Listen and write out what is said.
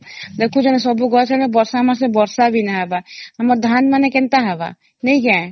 ଦେଖୁଛନ ସବୁ ଗଛରେ ବର୍ଷା ମାସ ବର୍ଷା ବି ନାଇ ହେବ ଆମ ଧାନ ମାନେ କେନ୍ତା ହବ ନେଇ କେ